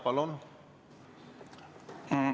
Palun!